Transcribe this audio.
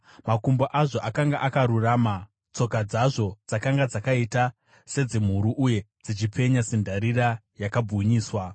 Makumbo azvo akanga akarurama; tsoka dzazvo dzakanga dzakaita sedzemhuru uye dzichipenya sendarira yakabwinyiswa.